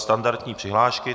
Standardní přihlášky.